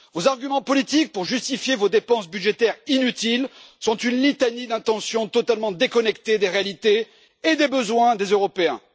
Vos arguments politiques pour justifier vos dépenses budgétaires inutiles sont une litanie d'intentions totalement déconnectées des réalités et des besoins des Européens.